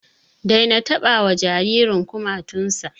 Daina taɓa wa jaririn kumatun sa!